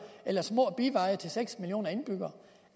eller små biveje til seks millioner indbyggere